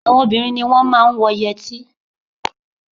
Àwọn obìnrin ni wọ́n máa ń wọ yẹtí